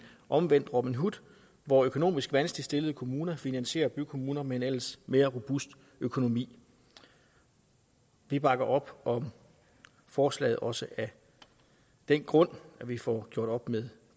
omvendt robin hood hvor økonomisk vanskeligt stillede kommuner finansierer bykommuner med en ellers mere robust økonomi vi bakker op om forslaget også af den grund at vi får gjort op med